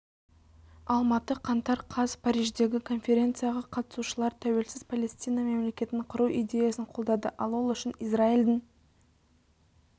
алматы қаңтар қаз париждегі конференцияға қатысушылар тәуелсіз палестина мемлекетін құру идеясын қолдады ал ол үшін израильдің